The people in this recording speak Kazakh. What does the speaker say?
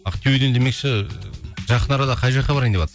ақтөбеден демекші жақын арада қай жаққа барайын деватсың